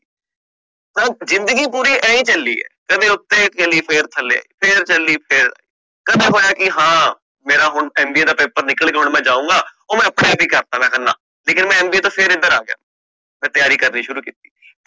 ਜ਼ਿੰਦਗੀ ਪੂਰੀ ਐ ਹੀ ਚਲੀ ਆ ਕਦੇ ਉਤੇ ਚਲੀ ਫੇਰ ਥੱਲੇ ਫੇਰ ਚਲੀ ਫੇਰ ਥੱਲੇ ਕਦੇ ਹੋਇਆ ਕਿ ਹਾਂ ਮੇਰਾ ਹੁਣ MBA ਦਾ paper ਨਿਕਲ ਗਯਾ ਹੁਣ ਮਈ ਜਾਊਂਗਾ ਮੈਂ ਆਪਣੇ ਆਪ ਹੀ ਕਰਤਾ ਮਈ ਨਾਂਹ ਲੇਕਿਨ ਮਈ MBA ਤੋਂ ਫੇਰ ਏਧਰ ਆ ਗਯਾ ਮੈਂ ਤਿਆਰੀ ਕਰਨੀ ਸ਼ੁਰੂ ਕੀਤੀ